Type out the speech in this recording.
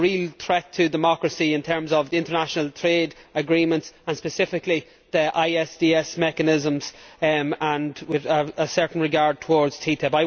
There is a real threat to democracy, in terms of international trade agreements and specifically the ISDS mechanisms and, with a certain regard, towards TTIP.